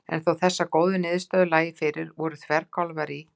En þó að þessar góðu niðurstöður lægju fyrir voru þverkálfarnir í